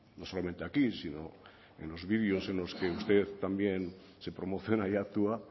no solamente aquí sino en los videos en los que usted también se promociona y actúa